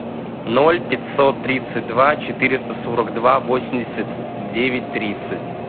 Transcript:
ноль пятьсот тридцать два четыреста сорок два восемьдесят девять тридцать